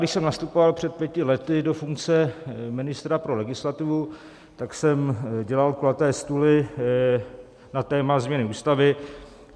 Když jsem nastupoval před pěti lety do funkce ministra pro legislativu, tak jsem dělal kulaté stoly na téma změny ústavy.